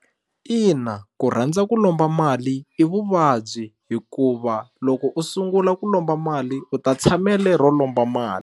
Ina ku rhandza ku lomba mali i vuvabyi hikuva loko u sungula ku lomba mali u ta tshamele ro lomba mali.